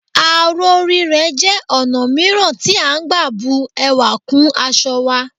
Aró rírẹ́ jẹ́ ọ̀nà mìíràn tí à ń gbà bu ẹwà kún aṣọ wa